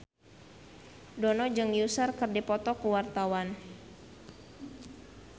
Dono jeung Usher keur dipoto ku wartawan